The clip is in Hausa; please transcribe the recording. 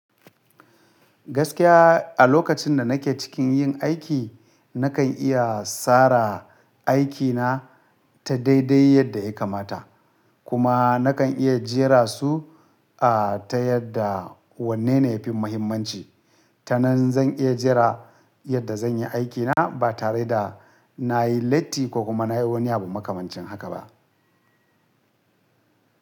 Gaskiya a lokacin da nake cikin yin aiki, nakan iya tsara aikina ta daidai yadda ya kamata. Kuma nakan iya jera su, a, ta yadda wanne ne yafi muhimmanci. Ta nan zan iya jera yadda zan yi aikina ba tare da na yi latti ko kuma na yi wani abu makamancin haka ba.